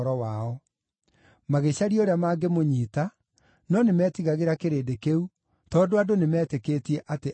Magĩcaria ũrĩa mangĩmũnyiita, no nĩmetigagĩra kĩrĩndĩ kĩu, tondũ andũ nĩmeetĩkĩtie atĩ aarĩ mũnabii.